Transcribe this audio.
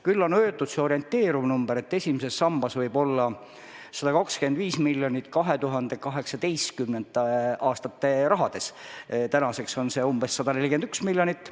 Küll on öeldud orienteeriv number, et esimeses sambas võib olla 125 miljonit 2018. aasta rahas, tänaseks on see umbes 141 miljonit.